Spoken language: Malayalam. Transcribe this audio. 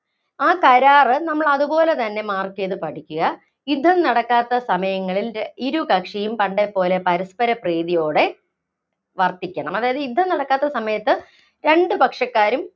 ആ കരാറ് നമ്മളതുപോലെതന്നെ mark ചെയ്തു പഠിക്കുക. യുദ്ധം നടക്കാത്ത സമയങ്ങളില്‍ ഇരു കക്ഷിയും പണ്ടേ പോലെ പരസ്പര പ്രീതിയോടെ വര്‍ത്തിക്കണം. അതായത് യുദ്ധം നടക്കാത്ത സമയത്ത് രണ്ട് പക്ഷക്കാരും